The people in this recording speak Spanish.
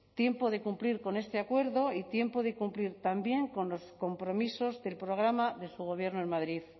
tiempo de cumplir con este acuerdo y tiempo de cumplir también con los compromisos del programa de su gobierno en madrid